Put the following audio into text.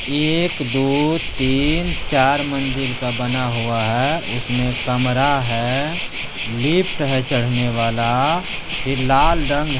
एक दो तीन चार मंजिल का बना हुआ है उसमे कमरा है लिफ्ट है चढ़ने वाला फिर लाल रंग --